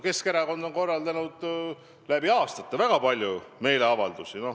Keskerakond on läbi aastate korraldanud väga palju meeleavaldusi.